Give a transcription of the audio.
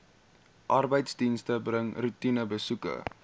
arbeidsdienste bring roetinebesoeke